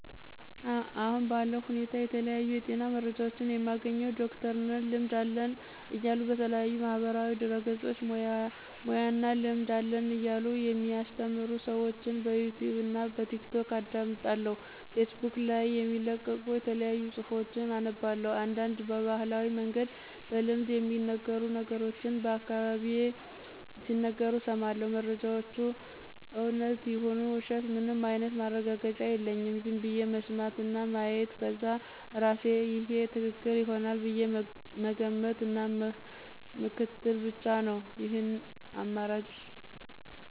አሁን ባለው ሁኔታ የተለያዩ የጤና መረጃዎችን የማገኘው ዶክተር ነን ልምድ አለን እያሉ በተለያዩ ማህበራዊ ድህረገጾች ሙያና እና ልምድ አለን እያሉ የሚአሰተምሩ ሰዎችን በዩቱብ እና በቲክቶክ አዳምጣለሁ ፌስቡክ ላይም የሚለቀቁ የተለያዩ ጽሁፎችን አነባለሁ፤ አንዳንድ በባህላዊ መንገድ በልምድ የሚነገሩ ነገሮችንም በአካባቢየ ሲነገሩ እሰማለሁ። መረጃወቹ እውነት ይሁኑ ውሸት ምንም አይነት ማረጋገጫ የለኝም ዝም ብዬ መስማት እና ማየት ከዛ እርሴ ይሄ ትክክል ይሆናል ብዬ መገመት እና ምክትል ብቻ ነው ይህን አማራጭ።